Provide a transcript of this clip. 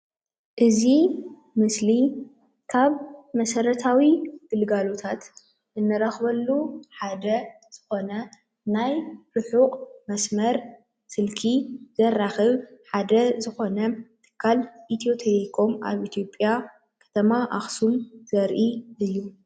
እዚ ምስሊ ካብ መሰራታዊ ግልጋሎታት እንረክበሉ ሓደ ዝኮነ ናይ ርሑቅ መስመር ስልኪ ዘራክብ ሓደ ዝኮነ ትካል ኢትዮ - ቴሌኮም ኣብ ኢትዮጵያ ኣብ ከተማ ኣክሱም ዘርኢ ምስሊ እዩ፡፡